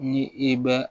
Ni i bɛ